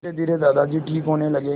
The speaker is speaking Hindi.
धीरेधीरे दादाजी ठीक होने लगे